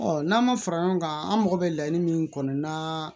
n'an ma fara ɲɔgɔn kan an mago bɛ laɲini min kɔnɔ na